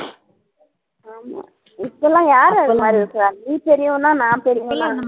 ஆமா இப்பல்லாம் யாரு அந்த மாதிரி இருக்குற நீ பெரியவன்னா நான் பெரியவன்னா